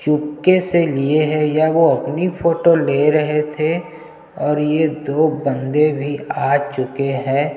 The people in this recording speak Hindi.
चुपके से लिए है या वो अपनी फोटो ले रहै थे और ये दो बन्दे भी आ चुके है।